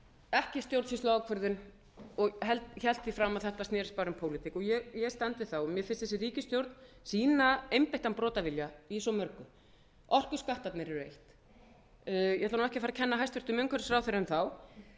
ekki stjórnsýsluákvörðun og hélt því fram að þetta snerist bara um pólitík ég stend við það mér finnst þessi ríkisstjórn sýna einbeittan brotavilja í svo mörgu orkuskattarnir eru eitt ég ætla nú ekki að fara að kenna hæstvirtur umhverfisráðherra um þá